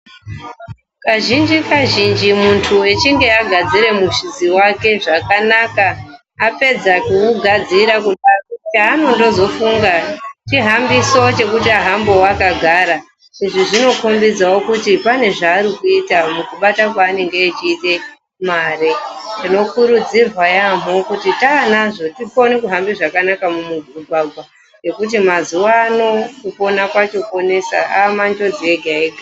Kazhinji kazhinji muntu wechinge agadzire muhlizi wake zvakanaka apedza kuugadzira kudaro chaanozondofunga chihambiso chekuti ahambewo akagara izvi zvinokombidzawo kuti pane zvaari kuita mukubata kwaanenge achiita mare. Tinokurudzirwa yaampho kuti tanazvo tikone kuhamba zvakanaka mumugwagwa nekuti mazuwano kupona kwacho kwonesa amanjodzi ega ega.